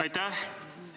Aitäh!